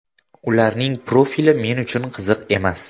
Ularning profili men uchun qiziq emas.